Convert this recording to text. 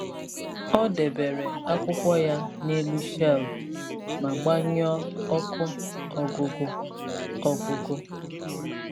Ọ debere akwụkwọ ya n’elu shelf ma gbanyụọ ọkụ ọgụgụ. ọgụgụ.